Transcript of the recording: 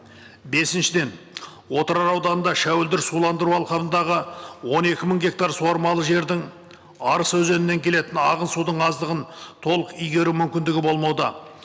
бесіншіден отырар ауданында шәуілдір суландыру алқабындағы он екі мың гектар суармалы жердің арыс өзенінен келетін ағын судың аздығын толық игеру мүмкіндігі болмауда